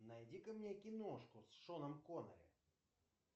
найди ка мне киношку с шоном коннери